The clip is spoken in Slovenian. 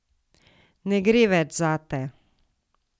Ne gre več zate.